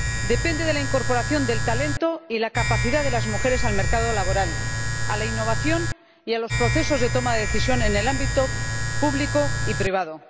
depende de la incorporación del talento y la capacidad de las mujeres al mercado laboral, a la innovación y a los procesos de toma de decisión en el ámbito público y privado.